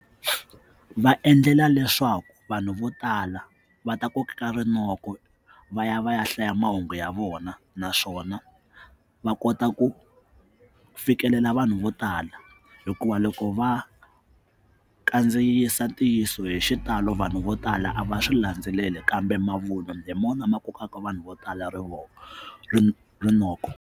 Va endlela leswaku vanhu vo tala va ta kokeka rinoko va ya va ya hlaya mahungu ya vona naswona va kota ku fikelela vanhu vo tala hikuva loko va kandziyisa ntiyiso hi xitalo vanhu vo tala a va swi landzeleli kambe mavun'wa hi mona ma kokaka vanhu vo tala ri rinoko.